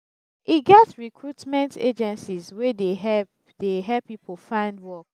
e get recruitment agencies wey dey help dey help pipo find work